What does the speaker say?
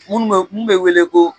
Munnu be mun be wele ko